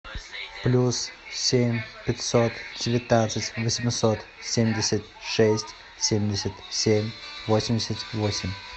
плюс семь пятьсот девятнадцать восемьсот семьдесят шесть семьдесят семь восемьдесят восемь